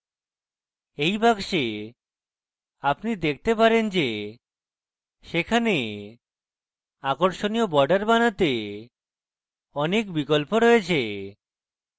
এই box আপনি দেখতে পারেন যে সেখানে আকর্ষণীয় borders বানাতে অনেক বিকল্প রয়েছে